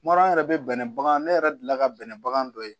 Kuma dɔ la an yɛrɛ bɛ bɛnɛ bagan ne yɛrɛ deli la ka bɛnɛ bagan dɔ ye